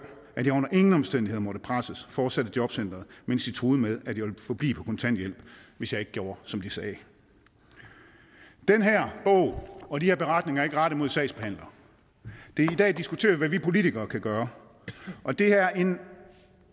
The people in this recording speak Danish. at jeg under ingen omstændigheder måtte presses fortsatte jobcenteret mens de truede med at jeg ville forblive på kontanthjælp hvis jeg ikke gjorde som de sagde den her bog og de her beretninger er ikke rettet mod sagsbehandlere i dag diskuterer vi hvad vi politikere kan gøre og det er en